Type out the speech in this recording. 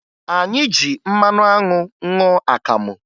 Anyị ji mmanụ anwụ ṅụọ akamụ